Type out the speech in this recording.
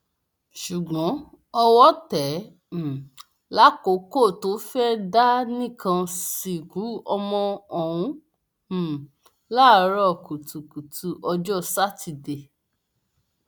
ṣùgbọn owó tẹ ẹ um lákòókò tó fẹẹ dá nìkan sìnkú ọmọ ọhún um láàárọ kùtùkùtù ọjọ sátidé